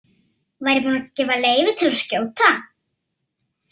Var ég búinn að gefa leyfi til að skjóta?